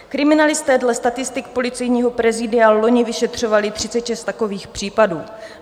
Kriminalisté dle statistik Policejního prezídia loni vyšetřovali 36 takových případů.